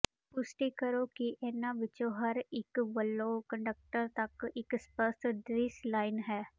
ਪੁਸ਼ਟੀ ਕਰੋ ਕਿ ਇਹਨਾਂ ਵਿੱਚੋਂ ਹਰ ਇੱਕ ਵੱਲੋਂ ਕੰਡਕਟਰ ਤੱਕ ਇੱਕ ਸਪਸ਼ਟ ਦ੍ਰਿਸ਼ ਲਾਈਨ ਹੈ